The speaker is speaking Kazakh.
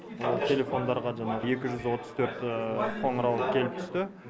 ол телефондарға жаңағы екі жүз отыз төрт қоңыраулар келіп түсті